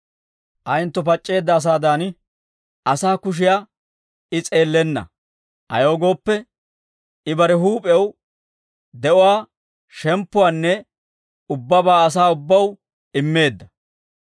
Ayentto pac'c'eedda asaadan, asaa kushiyaa I s'eellenna; ayaw gooppe, I bare huup'ew de'uwaa shemppuwaanne ubbabaa asaa ubbaw immeedda.